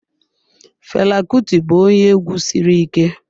Fela Kuti bụ onye egwu sịrị ike